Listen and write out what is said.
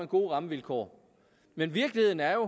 gode rammevilkår men virkeligheden er